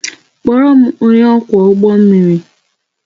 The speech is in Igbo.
Kpọọrọ m onye ọkwọ ụgbọ mmiri!